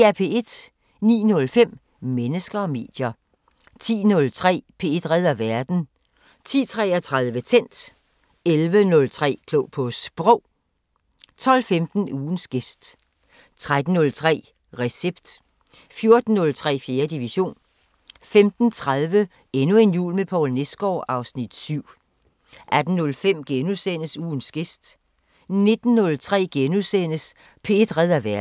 09:05: Mennesker og medier 10:03: P1 redder verden 10:33: Tændt 11:03: Klog på Sprog 12:15: Ugens gæst 13:03: Recept 14:03: 4. division 15:30: Endnu en jul med Poul Nesgaard (Afs. 7) 18:05: Ugens gæst * 19:03: P1 redder verden *